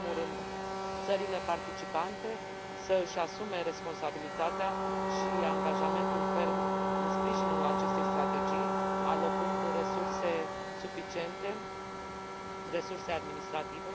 În primul rând, țările participante să își asume responsabilitatea și angajamentul ferm în sprijinul acestei strategii, alocând resurse suficiente, resurse administrative.